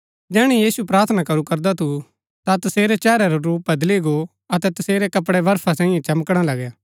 जैहणै यीशु प्रार्थना करू करदा थु ता तसेरै चेहरै रा रूप बदली गो अतै तसेरै कपड़ै बर्फा सैई चमकणा लगै